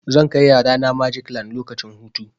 Zan kai yarana magic land lokacin hutu.